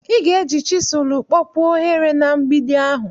ị ga-eji chisụl kpọpuo ohere na mgbidi ahụ